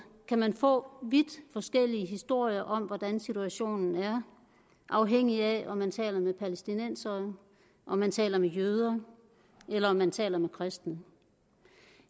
kan man få vidt forskellige historier om hvordan situationen er afhængig af om man taler med palæstinensere om man taler med jøder eller om man taler med kristne